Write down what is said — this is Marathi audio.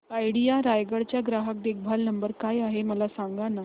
आयडिया रायगड चा ग्राहक देखभाल नंबर काय आहे मला सांगाना